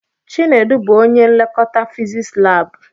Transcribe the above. Chinedu bụ ónyé nlekọta fiziks lab.